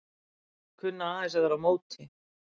Kunna aðeins að vera á móti